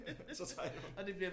Så tager jeg den